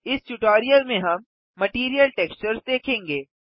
इस ट्यूटोरियल में हम मटीरियल टेक्सचर्स देखेंगे